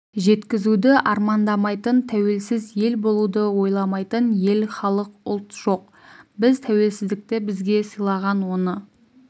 жеткізуді армандамайтын тәуелсіз ел болуды ойламайтын ел халық ұлт жоқ біз тәуелсіздікті бізге сыйлаған оны